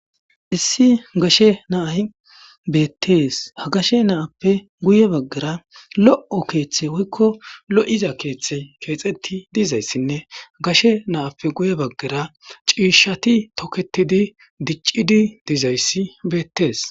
issi gashe naahi beettees ha gashe naappe guye baggara lo'o keeththe woykko lo7iza keeththe keexetti dizayssinne gashe naappe guye baggara ciishati toketidi diccidi diizayssi beettees